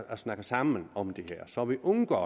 snakke sammen om det her så vi undgår